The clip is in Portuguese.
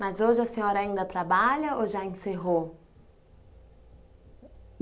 Mas hoje a senhora ainda trabalha ou já encerrou?